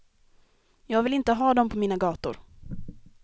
Jag vill inte ha dem på mina gator.